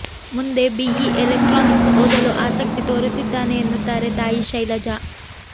ಮುಂದೆ BE electronics ಓದಲು ಆಸಕ್ತಿ ತೋರುತ್ತಿದ್ದಾನೆ ಎನ್ನುತ್ತಾರೆ ತಾಯಿ ಶೈಲಜಾ